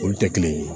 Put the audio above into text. Olu tɛ kelen ye